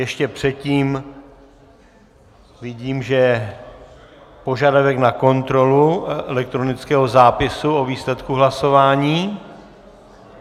Ještě předtím vidím, že je požadavek na kontrolu elektronického zápisu o výsledku hlasování.